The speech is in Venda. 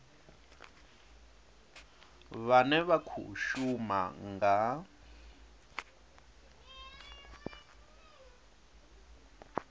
vhane vha khou shuma nga